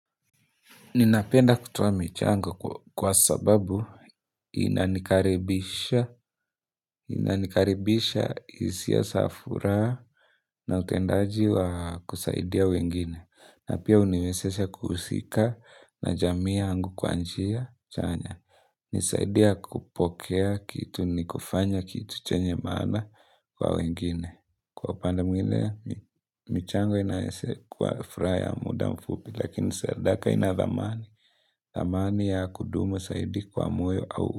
Ninapenda kutoa michango kwa sababu inanikaribisha hisia za furaha na utendaji wa kusaidia wengine. Na pia huniwezesha kuhusika na jamii yangu kwa njia chanya. Nisaidia kupokea kitu ni kufanya kitu chenye maana kwa wengine. Kwa upande mwingine, michango inaweza kuwa furaha muda mfupi lakini sadaka inadhamani. Thamani ya kudumu zaidi kwa moyo au.